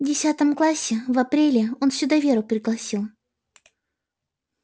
в десятом классе в апреле он сюда веру пригласил